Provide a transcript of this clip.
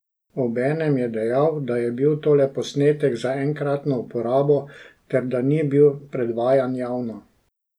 Obenem je dejal, da je bil to le posnetek za enkratno uporabo ter da ni bil predvajan javno.